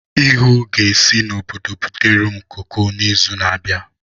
Ihuu ga-esi n'obodo butere m koko n'izu na-abịa.